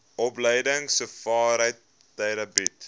opleidingsowerheid theta bied